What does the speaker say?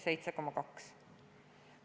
7,2!